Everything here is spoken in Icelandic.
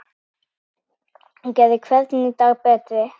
Hún gerði hvern dag betri.